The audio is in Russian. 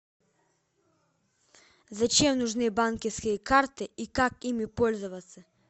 зачем нужны банковские карты и как ими пользоваться